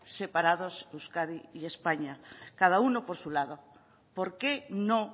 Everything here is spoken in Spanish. separados euskadi y españa cada uno por su lado por qué no